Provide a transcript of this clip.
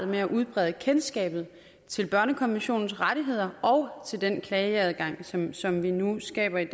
med at udbrede kendskabet til børnekonventionens rettigheder og til den klageadgang som som vi nu skaber i